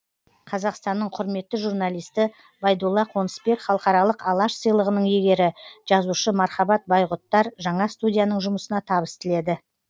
қазақстанның құрметті журналисті байдулла қонысбек халықаралық алаш сыйлығының иегері жазушы мархабат байғұттар жаңа студияның жұмысына табыс тіледі